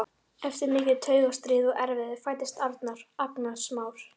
Eftir mikið taugastríð og erfiði fæddist Arnar, agnarsmár.